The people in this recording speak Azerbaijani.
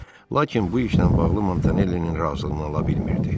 Lakin bu işlə bağlı Montanellinin razılığını ala bilmirdi.